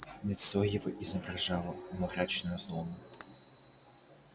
лицо его изображало мрачную злобу